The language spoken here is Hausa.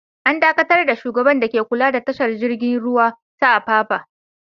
An dakatar da shugaban dake kula da tashar jiragen ruwa ta Apapa.